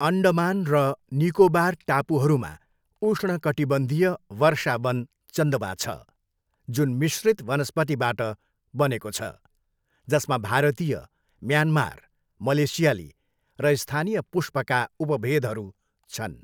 अन्डमान र निकोबार टापुहरूमा उष्णकटिबन्धीय वर्षावन चन्दवा छ, जुन मिश्रित वनस्पतिबाट बनेको छ, जसमा भारतीय, म्यानमार, मलेसियाली र स्थानीय पुष्पका उपभेदहरू छन्।